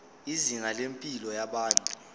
izinga lempilo yabantu